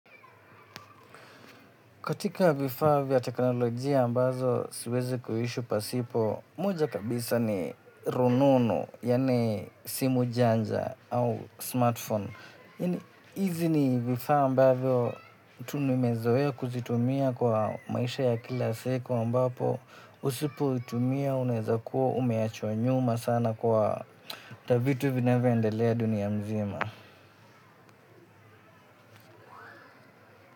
Katika vifaa vya teknolojia ambavyo siwezi kuishi pasipo. Moja kabisa ni rununu, yaani simu janja au smartphone. Hizi ni vifaa ambavyo tu nimezoea kuzitumia kwa maisha ya kila siku ambapo. Usipoitumia, unawezakuwa umewachwa nyuma sana kwa vitu vinavyoendelea dunia nzima.